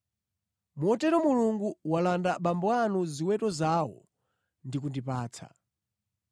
Motero Mulungu walanda abambo anu ziweto zawo ndi kundipatsa.